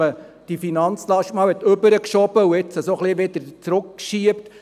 Man hat die Finanzlast einmal hinübergeschoben, und jetzt will man sie wieder ein wenig zurückschieben.